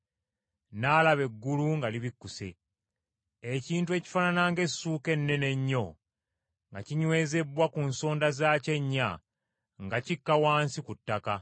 N’alaba eggulu nga libikkuse, ekintu ekifaanana ng’essuuka ennene ennyo, nga kinywezebbwa ku nsonda zaakyo ennya, nga kikka wansi ku ttaka.